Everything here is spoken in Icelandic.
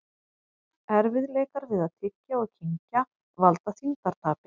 Erfiðleikar við að tyggja og kyngja valda þyngdartapi.